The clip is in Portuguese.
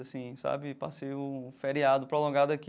Assim sabe passei um feriado prolongado aqui.